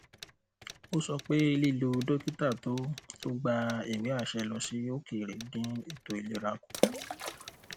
ó sọ pé lílọ dókítà tó tó gba ìwéàṣẹ lọ sí òkèèrè dín ètò ìlera kù